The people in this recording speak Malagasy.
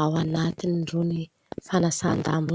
ao anatin' irony fanasan-damba.